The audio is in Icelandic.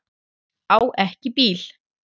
Á ekki bíl.